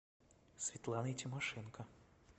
светланой тимошенко